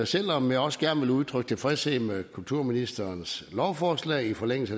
selv om jeg også gerne vil udtrykke tilfredshed med kulturministerens lovforslag i forlængelse